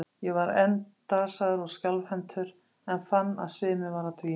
Ég var enn dasaður og skjálfhentur, en fann að sviminn var að dvína.